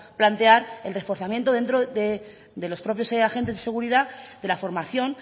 plantear el reforzamiento dentro de los propios agentes de seguridad de la formación